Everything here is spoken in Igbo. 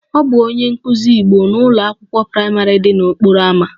Ọ bụ onye nkụzi Igbo ugbu a n'ụlọ akwụkwọ praịmarị dị n'okporo ámá